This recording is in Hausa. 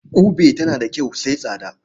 Ƙube tana da kyau sai tsada.